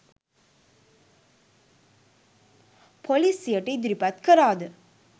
පොලිසියට ඉදිරිපත් කළාද?